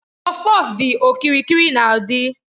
Kpọfkpọf dị okirikiri na udi.